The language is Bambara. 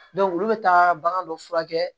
olu bɛ taa bagan dɔ furakɛ